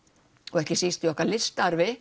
og ekki síst í okkar